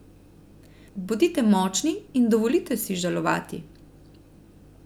Bodite močni in dovolite si žalovati ...